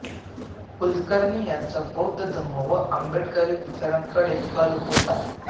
कुळकर्णी यांचा बौद्ध धम्म व आंबेडकरी विचारांकडे कल होता